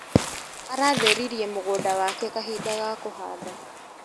Aratheririe mũgũnda wake kahinda ga kũhanda.